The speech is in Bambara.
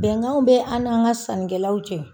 Bɛnkanw bɛ an n'an ka sanikɛlaw cɛ.